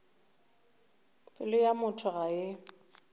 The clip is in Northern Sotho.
pelo ya motho ga e